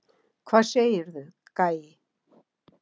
Hvað segirðu, gæi?